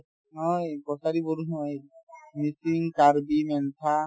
নহয় কছাৰী বড়ো নহয় মিছিং, কাৰ্বি , মেনথা